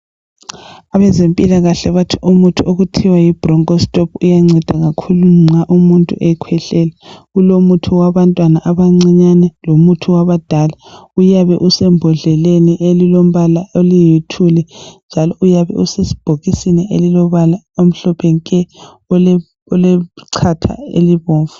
Abezempilakahle bathi kuthiwa umuthi okuthiwa yiBroncho stop uyangceda kakhulu nxa umuntu ekhwehlela kulomuthi wabantwana abancinyane lomuthi wabadala uyabe usembodleleni elilombala eliluthuli njalo uyabe usebhokisini olombala omhlophe nke olechatha elibomvu